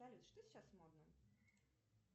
салют что сейчас модно